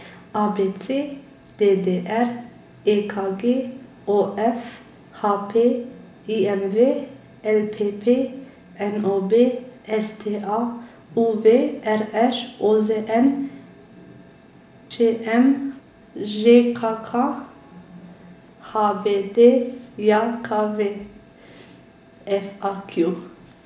A B C; D D R; E K G; O F; H P; I M V; L P P; N O B; S T A; U V; R Š; O Z N; Č M; Ž K K; H B D J K V; F A Q.